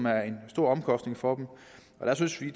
er en stor omkostning for dem og der synes vi